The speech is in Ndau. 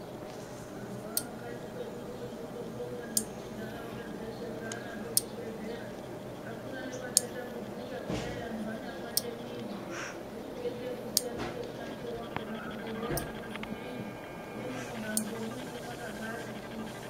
Mazuva ano kwanyi kwedu uno tinondobonga ngekuti ndaraunda dzeshe dzanazvo zvibhedhlera. Hakuna nevachatambudzika kudai antu anyapande mwiri. Zvochindoita kusiyana nemunakire vakona zvibhedhlera kuti zvimweni nemunohambive munenge makabati chuchu.